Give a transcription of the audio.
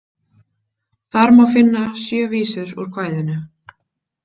Þar má finna sjö vísur úr kvæðinu.